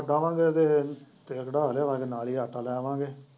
ਸਰੋਂ ਛੱਡ ਆਵਾਂਗੇ ਤੇ ਤੇਲ ਕਢਾ ਲਿਆਵਾਂਗੇ ਤੇ ਨਾਲ ਹੀ ਆਟਾ ਲੈ ਆਵਾਂਗੇ।